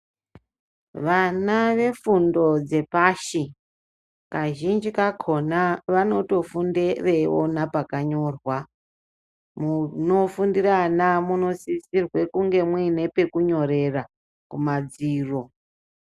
Vana vafundo yepashi kazhinji kakona vanotofonda veiona pakanyorwa munofundira ana munofanirwe kunge muine pakunyorera kumadziro.